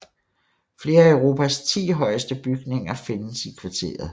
Flere af Europas ti højeste bygninger findes i kvarteret